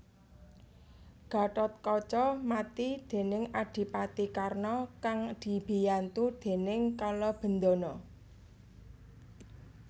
Gathotkaca mati déning Adipati Karna kang dibiyantu déning Kalabendana